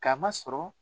K'a ma sɔrɔ